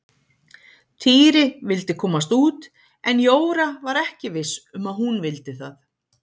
Týri vildi komast út en Jóra var ekki viss um að hún vildi það.